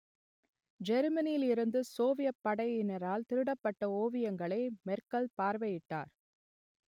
ஜெருமனியில் இருந்து சோவியத் படையினரால் திருடப்பட்ட ஓவியங்களை மெர்க்கல் பார்வையிட்டார்